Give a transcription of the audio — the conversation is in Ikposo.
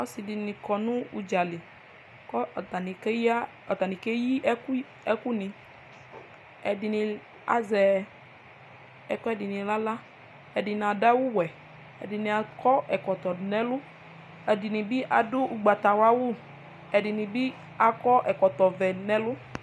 ɔse di ni kɔ no udzali kò atani keyi ɛkò ni ɛdini azɛ ɛkoɛdi ni n'ala ɛdini ado awu wɛ ɛdini akɔ ɛkɔtɔ do n'ɛlɔ ɛdini bi ado ugbata wla awu ɛdini bi akɔ ɛkɔtɔ vɛ do n'ɛlu